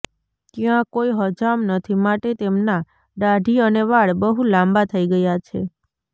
ત્યાં કોઈ હજામ નથી માટે તેમના દાઢી અને વાળ બહુ લાંબા થઈ ગયા છે